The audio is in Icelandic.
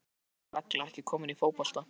Af hverju er sú regla ekki komin í fótbolta?